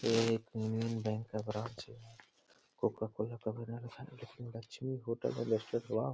ये एक Union Bank का ब्रांच है। कोकाकोला का बना --